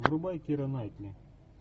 врубай кира найтли